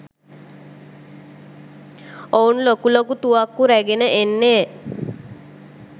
ඔවුන් ලොකු ලොකු තුවක්කු රැගෙන එන්නේ